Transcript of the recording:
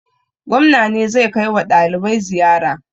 Gwamna ne zai kai wa ɗalibai ziyara.